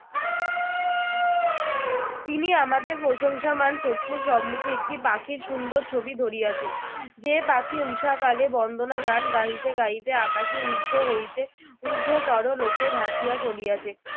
তিনি আমাদের প্রশংসামান চক্ষু সম্মুক্ষে একটি পাখির সুন্দর ছবি ধরিয়াছেন, যে পাখি ঊষাকালে বন্দনা গান গাহিতে গাহিতে আকাশে ঊর্ধ্ব হইতে ঊর্ধ্বতর লোকে ভাসিয়া চলিয়াছে